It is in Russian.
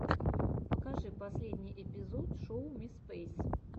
покажи последний эпизод шоу ми спэйс